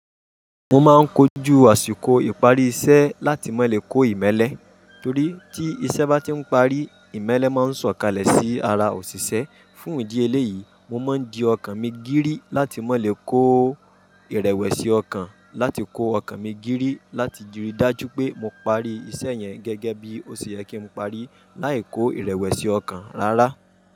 Mo máa ń kojú àsìkò ìparí iṣẹ́ láti máa lè kó ìmẹ́lẹ́, torí tí iṣẹ́ bá ti ń parí, ìmẹ́lẹ́ máa ń sọ̀kalẹ̀ sí ara òṣìṣẹ́. Fún ìdí eléyìí, mo máa ń dì ọkàn mi gírí láti máa lè kó ìrẹ̀wẹ̀sì ọkàn, láti kó ọkàn mi gírí láti rí dájú pé mo parí iṣẹ́ yẹn gẹ́gẹ́ bí ó ṣe yẹ kí n parí, láì kó ìrẹ̀wẹ̀sì ọkàn rárá.